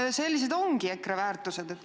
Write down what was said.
Kas sellised ongi EKRE väärtused?